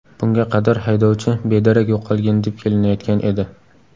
Bunga qadar haydovchi bedarak yo‘qolgan deb kelinayotgan edi.